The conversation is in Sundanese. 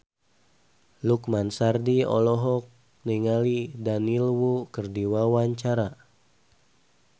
Lukman Sardi olohok ningali Daniel Wu keur diwawancara